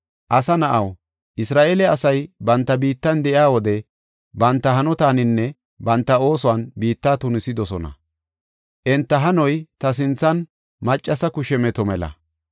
“Asa na7aw, Isra7eele asay banta biittan de7iya wode, banta hanotaaninne banta oosuwan biitta tunisidosona; enta hanoy ta sinthan maccasa kushe meto mela.